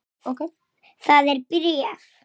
Hún virtist ein heima.